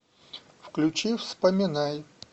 включи вспоминай